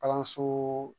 Kalanso